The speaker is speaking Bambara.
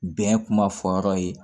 Bɛn kuma fɔ yɔrɔ ye